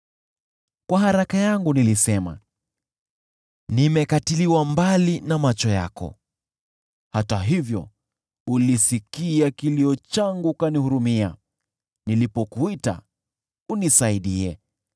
Katika hofu yangu nilisema, “Nimekatiliwa mbali na macho yako!” Hata hivyo ulisikia kilio changu ukanihurumia nilipokuita unisaidie.